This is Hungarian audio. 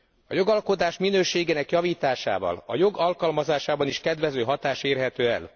A jogalkotás minőségének javításával a jog alkalmazásában is kedvező hatás érhető el.